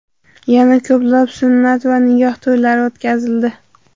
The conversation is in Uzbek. Yana ko‘plab, sunnat va nikoh to‘ylari o‘tkazildi.